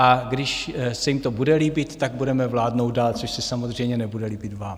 A když se jim to bude líbit, tak budeme vládnout dál, což se samozřejmě nebude líbit vám.